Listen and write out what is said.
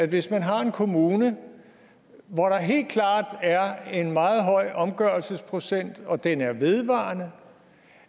hvis man har en kommune hvor der helt klart er en meget høj omgørelsesprocent og den er vedvarende